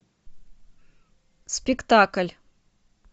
спектакль